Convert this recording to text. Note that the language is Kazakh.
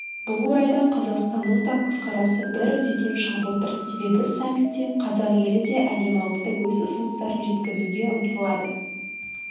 бұл орайда қазақстанның да көзқарасы бір үдеден шығып отыр себебі саммитте қазақ елі де әлем алдында өз ұсыныстарын жеткізуге ұмтылады